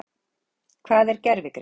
Hvað er gervigreind?